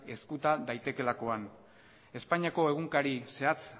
ezkuta daitekeelakoan espainiako egunkari zehatz